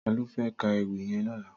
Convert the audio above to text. Tàló fè kà éwì yèn lòlá?